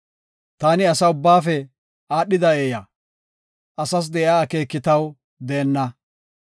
Taani asa ubbaafe aadhida eeya; asas de7iya akeeki taw deenna.